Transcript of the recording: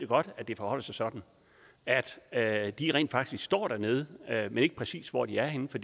at det forholder sig sådan er at de rent faktisk står dernede jeg ved ikke præcis hvor de er henne for